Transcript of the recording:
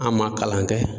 An ma kalan kɛ